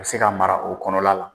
O ka se ka mara o kɔnɔ la la.